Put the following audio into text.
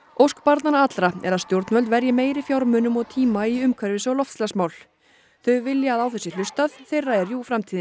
ósk barnanna allra er að stjórnvöld verji meiri fjármunum og tíma í umhverfis og loftslagsmál þau vilja að á þau sé hlustað þeirra er jú framtíðin